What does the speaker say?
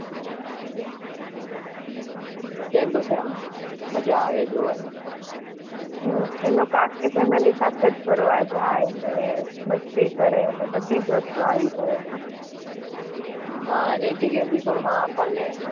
કેમ કે છે મજા આવે જોવાની.